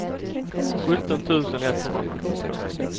sjutton tusen etthundrasjuttiotvå